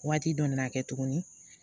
Waati dɔ nana kɛ tuguni